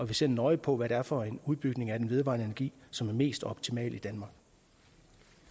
vi ser nøje på hvad det er for en udbygning af den vedvarende energi som er mest optimal